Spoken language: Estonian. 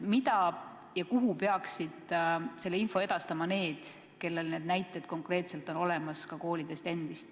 Kuhu peaksid sellekohase info edastama need, kellel on konkreetselt need olemas?